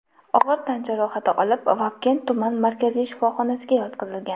og‘ir tan jarohati olib, Vobkent tuman markaziy shifoxonasiga yotqizilgan.